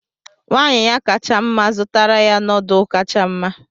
Nwanyị ya kacha mma zụtara ya noodlu kacha mma.